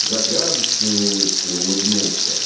загадочной улыбкой улыбнулся